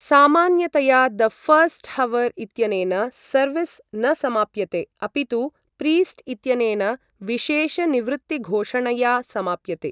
सामान्यतया the last hour इत्यनेन service न समाप्यते, अपितु प्रीस्ट् इत्यनेन विशेषनिवृत्तिघोषणया समाप्यते।